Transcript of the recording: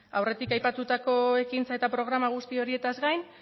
aurretik aipatutako ekintza eta programa guzti horietaz gain